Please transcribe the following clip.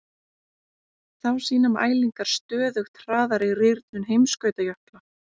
Þá sýna mælingar stöðugt hraðari rýrnun heimskautajökla.